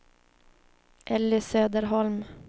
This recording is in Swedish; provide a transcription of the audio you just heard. Elly Söderholm